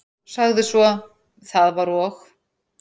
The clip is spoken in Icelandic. Sagði svo: Það var og